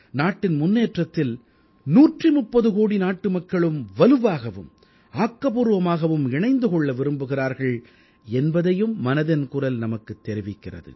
நாட்டின் முன்னேற்றத்தில் 130 கோடி நாட்டு மக்களும் வலுவாகவும் ஆக்கப்பூர்வமாகவும் இணைந்து கொள்ள விரும்புகிறார்கள் என்பதையும் மனதின் குரல் நமக்குத் தெரிவிக்கிறது